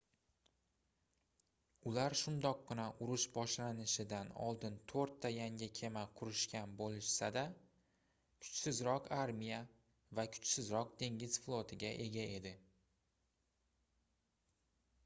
ular shundoqqina urush boshlanishidan oldin toʻrtta yangi kema qurishgan boʻlsa-da kuchsizroq armiya va kuchsizroq dengiz flotiga ega edi